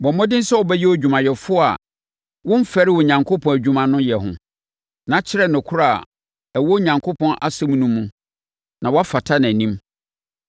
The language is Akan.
Bɔ mmɔden sɛ wobɛyɛ odwumayɛfoɔ a womfɛre Onyankopɔn adwuma no yɛ ho, na kyerɛ nokorɛ a ɛwɔ Onyankopɔn asɛm no mu no, na woafata nʼanim.